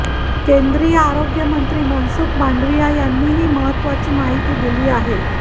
केंद्रीय आरोग्य मंत्री मनसुख मांडवीया यांनी हि महत्वाची माहिती दिली आहे